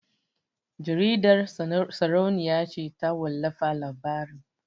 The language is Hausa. Jaridar sarauniya ce ta wallafa labarin